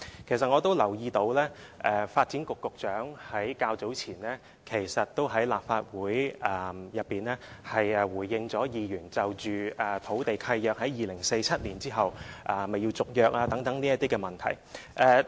其實我也留意到，發展局局長較早前也在立法會內回應議員就土地契約在2047年之後是否須續約而提出的質詢。